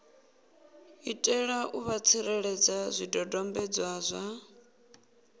itela u vha tsireledza zwidodombedzwa